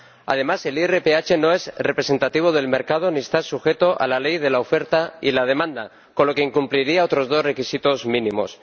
Además, el IRPH no es representativo del mercado ni está sujeto a la ley de la oferta y la demanda, con lo que incumpliría otros dos requisitos mínimos.